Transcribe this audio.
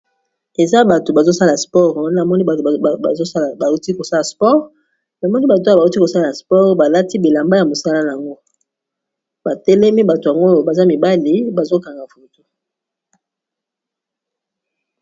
Eza bato bazosala spore na moni bato osala bauti kosala spor, na moni bato oya bauti kosala spore balati bilamba ya mosala yango batelemi bato yango oyo baza mibali bazokanga futu.